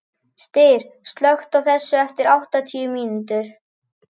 Styr, slökktu á þessu eftir áttatíu mínútur.